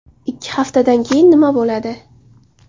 Ikki haftadan keyin nima bo‘ladi?